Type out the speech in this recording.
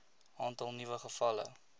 aantal nuwe gevalle